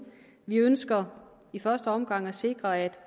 vi ønsker i første omgang at sikre at